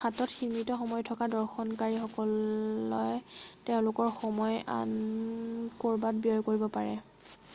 হাতত সীমিত সময় থকা দৰ্শনকাৰীসকলে তেওঁলোকৰ সময় আন ক'ৰবাত ব্যয় কৰিব পাৰে